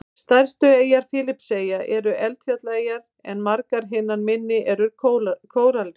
Stærstu eyjar Fídjieyja eru eldfjallaeyjar en margar hinna minni eru kóralrif.